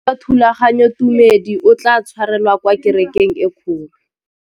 Mokete wa thulaganyôtumêdi o tla tshwarelwa kwa kerekeng e kgolo.